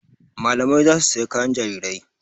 Malamai za su saya kayan jarirai.